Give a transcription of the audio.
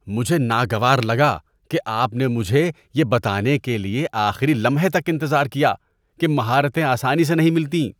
مجھے ناگوار لگا کہ آپ نے مجھے یہ بتانے کے لیے آخری لمحے تک انتظار کیا کہ مہارتیں آسانی سے نہیں ملتیں۔